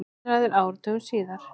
Heiðraður áratugum síðar